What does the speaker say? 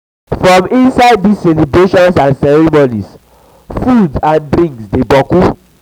for inside these celebrations and ceremonies food and drings dey boku